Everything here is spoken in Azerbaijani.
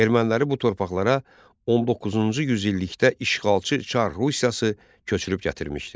Erməniləri bu torpaqlara 19-cu yüz illikdə işğalçı Çar Rusiyası köçürüb gətirmişdi.